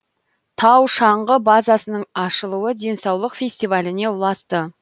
тау шаңғы базасының ашылуы денсаулық фестиваліне ұласты